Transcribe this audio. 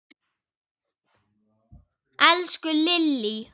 Elsku Lillý!